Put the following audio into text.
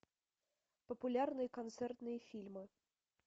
популярные концертные фильмы